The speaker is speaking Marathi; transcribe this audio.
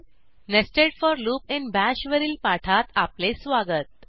nested for loop in Bash वरील पाठात आपले स्वागत